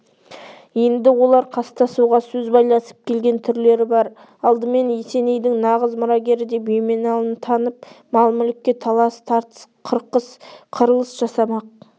енді олар қастасуға сөз байласып келген түрлері бар алдымен есенейдің нағыз мұрагері деп еменалыны танып мал-мүлікке талас-тартыс қырқыс қырылыс жасамақ